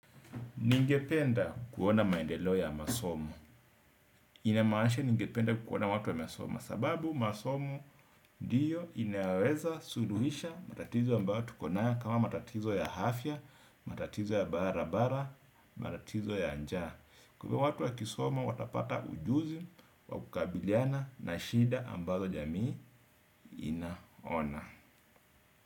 Ningependa kuona maendeleo ya masomo. Inamaanisha ningependa kuona watu wanasoma. Sababu masomo ndiyo inaweza suluhisha matatizo ambayo tukonayo kama matatizo ya afya, matatizo ya barabara, matatizo ya njaa. Kwa hivyo watu wakisoma watapata ujuzi, wa kukabiliana na shida ambazo jamii inaona.